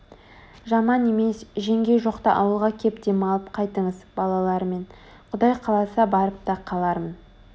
жаман емес жеңгей жоқта ауылға кеп демалып қайтыңыз балалармен Құдай қаласа барып та қалармын